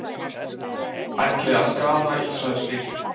Ætli að skaða Ísraelsríki